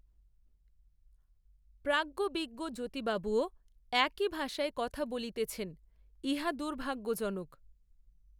প্রাজ্ঞবিজ্ঞ জ্যোতিবাবুও, একই ভাষায় কথা বলিতেছেন, ইহা দুর্ভাগ্যজনক